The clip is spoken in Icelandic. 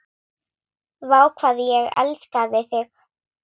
Vá, hvað ég elskaði þig.